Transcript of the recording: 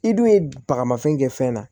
I dun ye bagamafɛn kɛ fɛn na